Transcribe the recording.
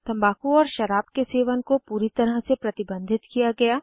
तम्बाकू और शराब के सेवन कोपूरी तरह से प्रतिबंधित किया गया